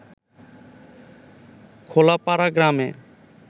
খোলাপাড়া গ্রামে